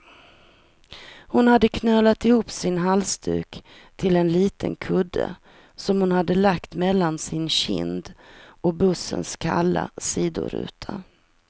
Hon hade knölat ihop sin halsduk till en liten kudde, som hon hade lagt mellan sin kind och bussens kalla sidoruta.